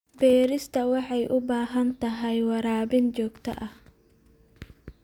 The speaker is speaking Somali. Beerista waxay u baahan tahay waraabin joogto ah.